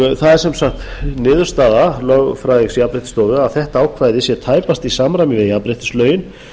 það er sem sagt niðurstaða lögfræðings jafnréttisstofu að þetta ákvæði sé tæpast í samræmi við jafnréttislögin